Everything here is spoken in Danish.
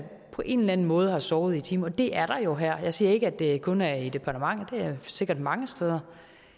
på en eller anden måde har sovet i timen og det er der jo her jeg siger ikke at det kun er i departementet det er sikkert mange steder